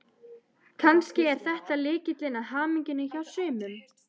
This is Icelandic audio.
Kannski er þetta lykillinn að hamingjunni hjá sumum.